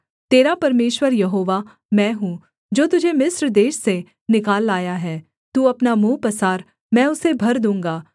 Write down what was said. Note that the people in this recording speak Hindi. तेरा परमेश्वर यहोवा मैं हूँ जो तुझे मिस्र देश से निकाल लाया है तू अपना मुँह पसार मैं उसे भर दूँगा